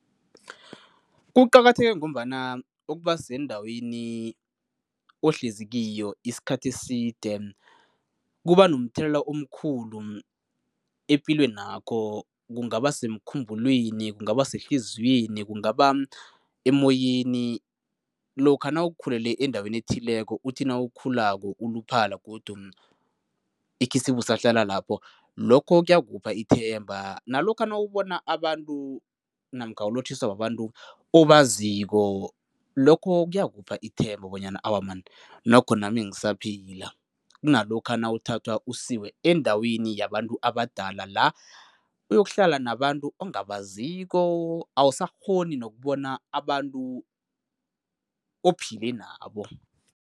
Kuqakatheke ngombana ukuba sendaweni ohlezi kiyo isikhathi eside kuba nomthelela omkhulu epilwenakho kungaba semkhumbulweni kungaba sehliziyweni, kungaba emoyeni, lokha nawukhulele endaweni ethileko uthi nawukhulako uluphala godu ikhisibe usahlala lapho, lokho kuyakupha ithemba. Nalokha nawubona abantu namkha ulotjhiswa babantu obaziko, lokho kuyakupha ithemba bonyana awa man nokho nami ngisaphila kunalokha nawuthathwa usiwe endaweni yabantu abadala la uyokuhlala nabantu ongabaziko, awusakghoni nokubona abantu ophile nabo.